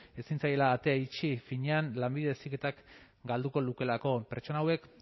ezin zaiela atea itxi finean lanbide heziketak galduko lukeelako pertsona hauek